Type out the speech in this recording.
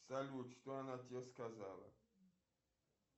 салют что она тебе сказала